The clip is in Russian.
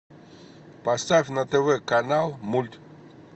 поставь на тв канал мульт